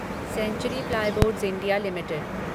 century Plyboards India limited